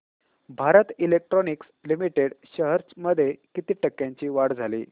Bharat electronics limited shares मध्ये किती टक्क्यांची वाढ झाली